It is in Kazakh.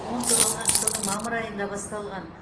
он тоғызыншы жылдың мамыр айында басталған